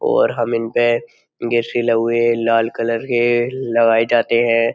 और हम इन पे गिर से लहुए लाल कलर के लगाए जाते हैं।